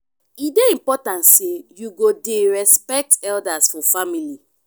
e dey important sey you go dey respect elders for family.